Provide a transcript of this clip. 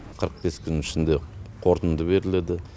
қырық бес күннің ішінде қорытынды беріледі